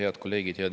Head kolleegid!